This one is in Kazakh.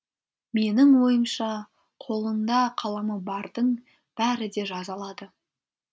менің ойымша қолында қаламы бардың бәрі де жаза алады